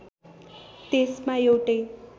त्यसमा एउटै